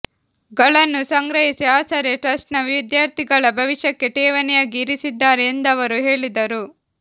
ಗಳನ್ನು ಸಂಗ್ರಹಿಸಿ ಆಸರೆ ಟ್ರಸ್ಟ್ನ ವಿದ್ಯಾರ್ಥಿಗಳ ಭವಿಷ್ಯಕ್ಕೆ ಠೇವಣಿಯಾಗಿ ಇರಿಸಿದ್ದಾರೆ ಎಂದವರು ಹೇಳಿದರು